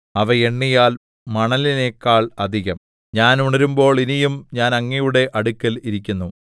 അവ എണ്ണിയാൽ മണലിനെക്കാൾ അധികം ഞാൻ ഉണരുമ്പോൾ ഇനിയും ഞാൻ അങ്ങയുടെ അടുക്കൽ ഇരിക്കുന്നു